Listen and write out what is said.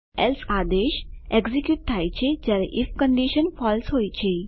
else આદેશ execute થાય છે જયારે આઇએફ કંડીશન ફળસે હોય છે